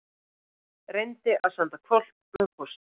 Reyndi að senda hvolp með pósti